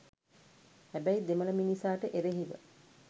හැබැයි දෙමළ මිනිසාට එරෙහිව